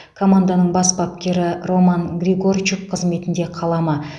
команданың бас бапкері роман григорчук қызметінде қала ма